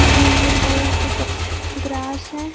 Green green colour के कुछ grass है।